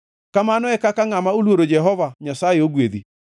Kamano e kaka ngʼama oluoro Jehova Nyasaye ogwedhi.